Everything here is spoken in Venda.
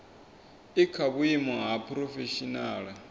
i kha vhuimo ha phurofeshinala